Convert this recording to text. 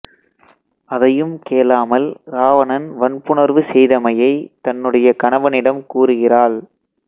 அதையும் கேளாமல் இராவணன் வன்புணர்வு செய்தமையை தன்னுடைய கணவனிடம் கூறுகிறாள்